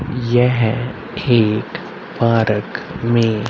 यह एक पारक में--